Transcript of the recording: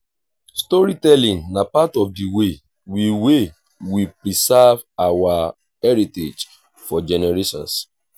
storytelling na part of the way we way we preserve our heritage for generations.